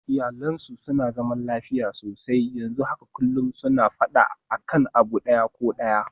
Iyalinsu a da suna zaman lafiya sosai, yanzu haka kullum suna faɗa akan abu ɗaya ko ɗaya